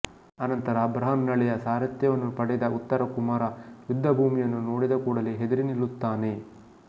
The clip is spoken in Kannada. ಅನಂತರ ಬೃಹನ್ನಳೆಯ ಸಾರಥ್ಯವನ್ನು ಪಡೆದ ಉತ್ತರ ಕುಮಾರ ಯುದ್ಧ ಭೂಮಿಯನ್ನು ನೋಡಿದ ಕೂಡಲೇ ಹೆದರಿ ನಿಲ್ಲುತ್ತಾನೆ